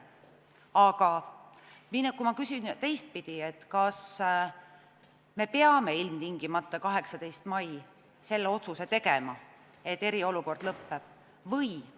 Aga ma küsin teistpidi: kas me peame ilmtingimata 18. maiks selle otsuse tegema, et eriolukord lõpeb?